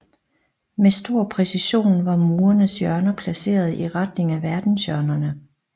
Med stor præcision var murenes hjørner placeret i retning af verdenshjørnerne